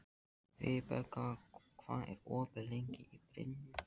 Vibeka, hvað er opið lengi í Brynju?